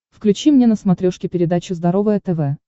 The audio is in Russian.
включи мне на смотрешке передачу здоровое тв